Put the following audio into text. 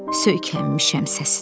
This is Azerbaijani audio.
Söykənmişəm səsinə.